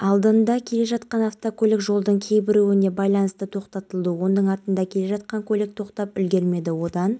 киімдер беріп мені жылытты кемеде орыс тілді адамдар болды оларға қайдан және қалай келгенімді түсіндірдім